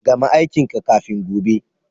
Gama aikin ka kafin gobe.